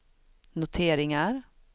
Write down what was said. noteringar